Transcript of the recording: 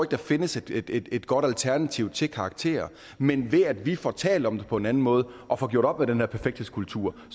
der findes et et godt alternativ til karakterer men ved at vi får talt om det på en anden måde og får gjort op med den der perfekthedskultur